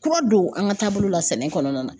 Kura don an ka taabolo la sɛnɛ kɔnɔna na